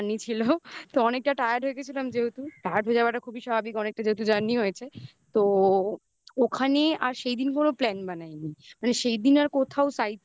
এবং অনেকটা journey ছিল. তো অনেকটা tired হয়ে গেছিলাম যেহেতু. tired হয়ে যাওয়াটা খুবই স্বাভাবিক অনেকটা. যেহেতু journey হয়েছে তো ওখানে আর সেদিন কোনো plan বানায়নি মানে সেইদিন আর কোথাও